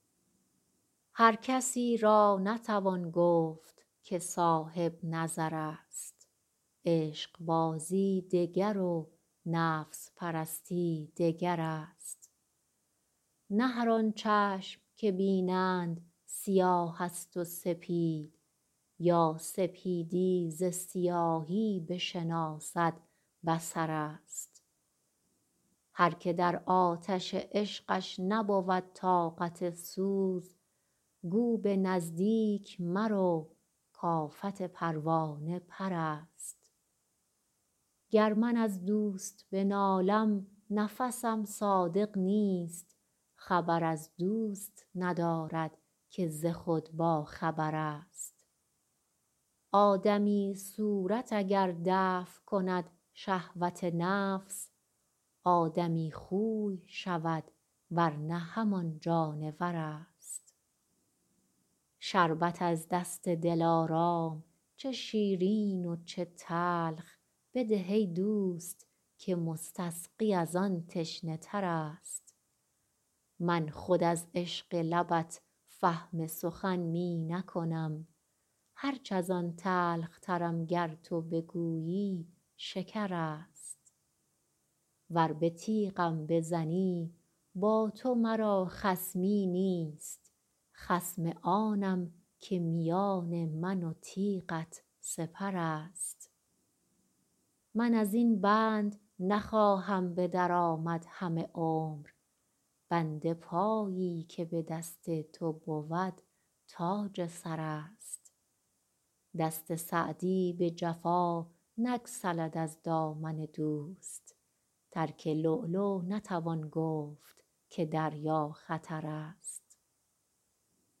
هر کسی را نتوان گفت که صاحب نظر است عشقبازی دگر و نفس پرستی دگر است نه هر آن چشم که بینند سیاه است و سپید یا سپیدی ز سیاهی بشناسد بصر است هر که در آتش عشقش نبود طاقت سوز گو به نزدیک مرو کآفت پروانه پر است گر من از دوست بنالم نفسم صادق نیست خبر از دوست ندارد که ز خود باخبر است آدمی صورت اگر دفع کند شهوت نفس آدمی خوی شود ور نه همان جانور است شربت از دست دلارام چه شیرین و چه تلخ بده ای دوست که مستسقی از آن تشنه تر است من خود از عشق لبت فهم سخن می نکنم هرچ از آن تلخترم گر تو بگویی شکر است ور به تیغم بزنی با تو مرا خصمی نیست خصم آنم که میان من و تیغت سپر است من از این بند نخواهم به در آمد همه عمر بند پایی که به دست تو بود تاج سر است دست سعدی به جفا نگسلد از دامن دوست ترک لؤلؤ نتوان گفت که دریا خطر است